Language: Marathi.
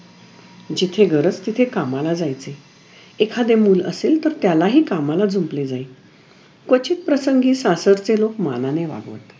जिथे गरज तिथे कमला जायचे एखादे मुलं असेल तर त्यालाही कमला जुंपले जायी क्वचित प्रसंगी सासरचे लोक मानाने वागवत